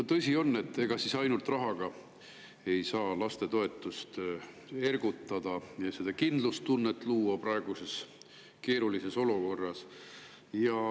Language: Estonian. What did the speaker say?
No tõsi ta on, et ega siis ainult rahaga saa laste ergutada ja kindlustunnet luua praeguses keerulises olukorras.